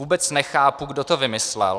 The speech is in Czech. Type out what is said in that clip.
Vůbec nechápu, kdo to vymyslel.